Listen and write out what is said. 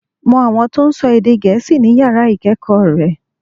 Mo àwọn tó n sọ èdè gèésì ní yàrá ìkéèkó re